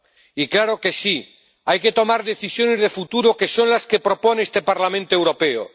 Y claro que sí, hay que tomar decisiones de futuro que son las que propone este Parlamento Europeo.